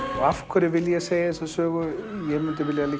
og af hverju vil ég segja þessa sögu ég vil